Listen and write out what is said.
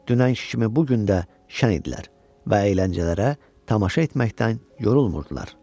Dünən kimi bu gün də şən idilər və əyləncələrə tamaşa etməkdən yorulmurdular.